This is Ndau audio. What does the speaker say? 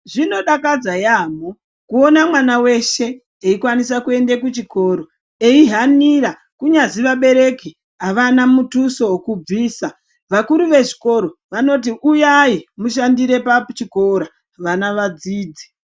Zvinodakadza yaamho kuona mwana veshe eikwanisa kuende kuchikoro eihanira kunyazi vabereki havana mutuso vokubvisa. Vakuru vezvikoro vanoti uyai mushandire pachikora vana vadzidze.